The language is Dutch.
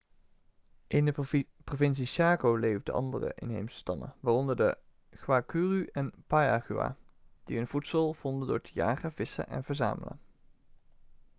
in de provincie chaco leefden andere inheemse stammen waaronder de guaycurú en payaguá die hun voedsel vonden door te jagen vissen en verzamelen